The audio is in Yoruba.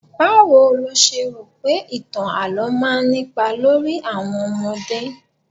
Báwo lo ṣe rò pé ìtàn àlo máa ń nípa lórí àwọn ọmọdé?